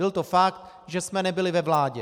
Byl to fakt, že jsme nebyli ve vládě.